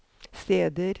steder